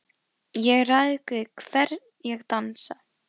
Ég ræð við hvern ég dansa,